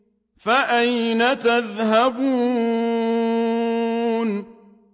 فَأَيْنَ تَذْهَبُونَ